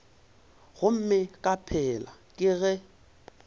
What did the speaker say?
gomme ka pela ke ge